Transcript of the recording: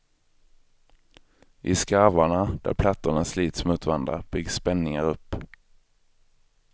I skarvarna, där plattorna slits mot varandra, byggs spänningar upp.